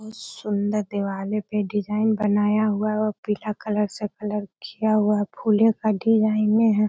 बहुत सुन्दर दीवाले पे डिज़ाइन बनाया हुआ है और पीला कलर से कलर किया हुआ है फूले का डिज़ाइनये हैं।